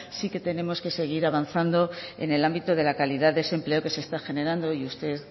sí que tenemos que seguir avanzando en el ámbito de la calidad de ese empleo que se está generando y usted